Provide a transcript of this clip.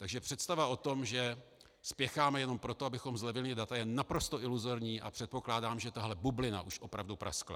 Takže představa o tom, že spěcháme jenom proto, abychom zlevnili data, je naprosto iluzorní a předpokládám, že tahle bublina už opravdu praskla.